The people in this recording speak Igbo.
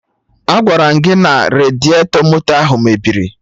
Agwaram gị na radiatọ moto ahụ mebiri!